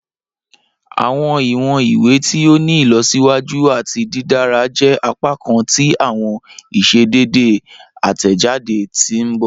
Awọn iwọn iwe ti o ni ilọsiwaju ati didara jẹ apakan ti awọn iṣedede atẹjade ti n bọ.